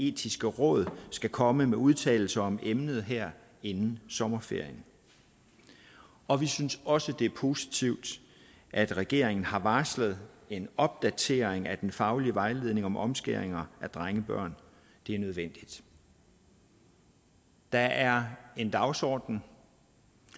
etiske råd skal komme med udtalelser om emnet her inden sommerferien og vi synes også at det er positivt at regeringen har varslet en opdatering af den faglige vejledning om omskæringer af drengebørn det er nødvendigt der er en dagsorden